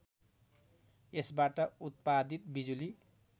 यसबाट उत्पादित बिजुली